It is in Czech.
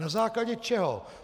Na základě čeho?